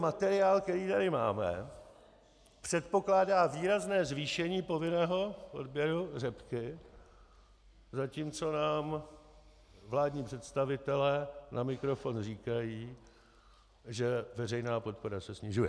Materiál, který tady máme, předpokládá výrazné zvýšení povinného odběru řepky, zatímco nám vládní představitelé na mikrofon říkají, že veřejná podpora se snižuje.